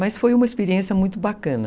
Mas foi uma experiência muito bacana